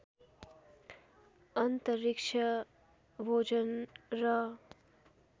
अन्तरिक्ष भोजन र